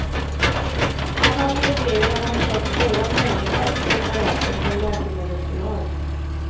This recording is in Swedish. Han har medgivit att han köpt stora mängder av preparaten från läkemedelsbolag.